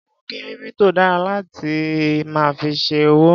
Owó kírípítò dara láti máa fi ṣe òwò.